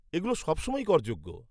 এগুলো সবসময়ই করযোগ্য।